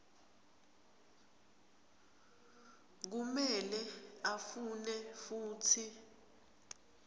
kumele afune futsi